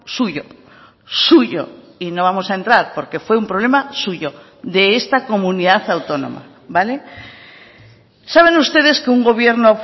suyo suyo y no vamos a entrar porque fue un problema suyo de esta comunidad autónoma vale saben ustedes que un gobierno